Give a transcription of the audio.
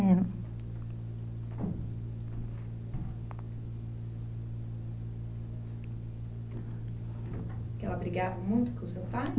Que ela brigava muito com o seu pai?